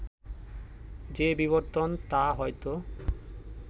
যে বিবর্তন তা হয়তো